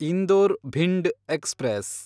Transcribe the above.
Indore Bhind express